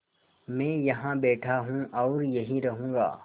मैं यहाँ बैठा हूँ और यहीं रहूँगा